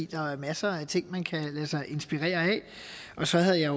der er jo masser af ting man kan lade sig inspirere af og så havde jeg